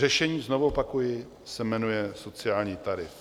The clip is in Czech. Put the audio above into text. Řešení, znovu opakuji, se jmenuje sociální tarif.